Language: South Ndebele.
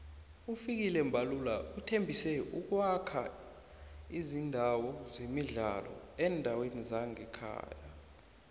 ufikile mbalula uthembise ukuwakha izindawo zemidlalo eendaweni zemakhaya